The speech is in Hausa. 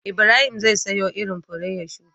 Ibrahim zai siyo irin fure ya shuka